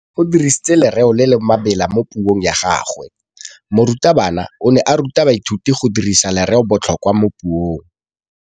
O dirisitse lerêo le le maleba mo puông ya gagwe. Morutabana o ne a ruta baithuti go dirisa lêrêôbotlhôkwa mo puong.